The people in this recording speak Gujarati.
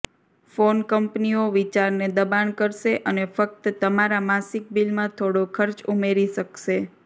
ફોન કંપનીઓ વિચારને દબાણ કરશે અને ફક્ત તમારા માસિક બિલમાં થોડો ખર્ચ ઉમેરી શકશે